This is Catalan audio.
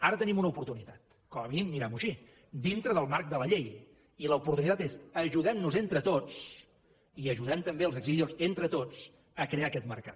ara tenim una oportunitat com a mínim mirem ho així dintre del marc de la llei i l’oportunitat és ajudem nos entre tots i ajudem també els exhibidors entre tots a crear aquest mercat